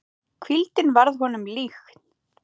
Hvíldin varð honum líkn.